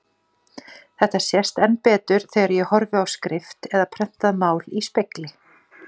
Þetta sést enn betur þegar ég horfi á skrift eða prentað mál í spegli.